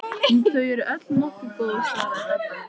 Þau eru öll nokkuð góð svaraði Dadda.